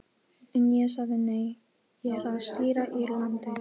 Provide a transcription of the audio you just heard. En ég sagði nei, ég er að stýra Írlandi.